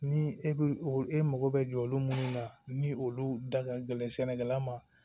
Ni e bɛ o e mako bɛ jɔ olu munnu na ni olu da ka gɛlɛn sɛnɛkɛla ma